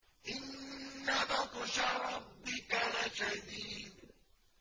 إِنَّ بَطْشَ رَبِّكَ لَشَدِيدٌ